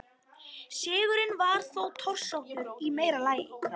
Sigurinn var þó torsóttur í meira lagi.